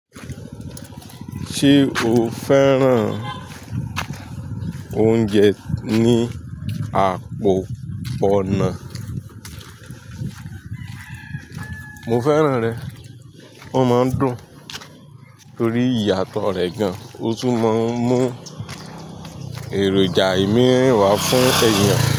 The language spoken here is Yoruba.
Ṣé o fẹ́ràn oúnjẹ ní àpò ọ̀nà? Mo fẹ́ràn rẹ̀. Wọ́n máa ń dùn torí ìyàtọ̀ rẹ̀ gan-an. Ó tún máa ń mú èròjà ìmíi wà fún èèyàn.